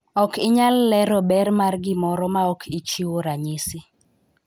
ok inyalo lero ber mar gimoro maok ichiwo ranyisi